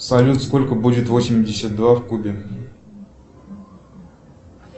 салют сколько будет восемьдесят два в кубе